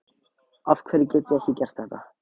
afhverju get ég ekki gert þetta